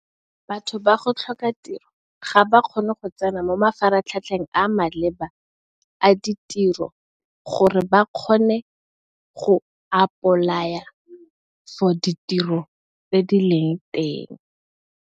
Batho ba go tlhoka tiro ga ba kgone go tsena mo mafaratlhatlheng a maleba a ditiro gore ba kgone go apolaya for ditiro tse di leng teng.